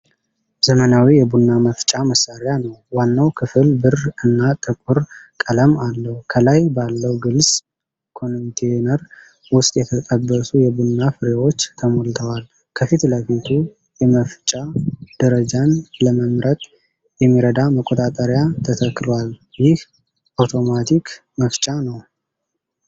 ዘመናዊ የቡና መፍጫ መሣሪያ ነው። ዋናው ክፍል ብር እና ጥቁር ቀለም አለው። ከላይ ባለው ግልጽ ኮንቴይነር ውስጥ የተጠበሱ የቡና ፍሬዎች ተሞልተዋል። ከፊት ለፊት የመፍጨት ደረጃን ለመምረጥ የሚረዳ መቆጣጠሪያ ተተክሏል። ይህ አውቶማቲክ መፍጫ ነው።